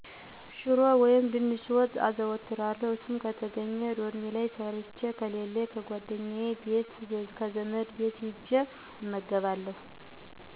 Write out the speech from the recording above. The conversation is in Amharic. ሽሮ ወይም ድንች ወጥ አዘወትራለሁ እሱም ከተገኜ ዶርሜ ላይ ሠርቸ ከሌለኝ ጓደኛየ ቤት ወይም ከዘመድ ቤት ሂጀ እመገባለሁ።